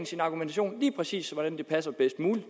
sin argumentation lige præcis sådan at den passer bedst muligt